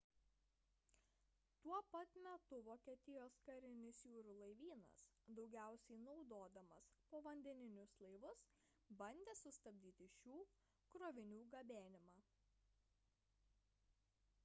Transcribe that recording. tuo pat metu vokietijos karinis jūrų laivynas daugiausiai naudodamas povandeninius laivus bandė sustabdyti šių krovinių gabenimą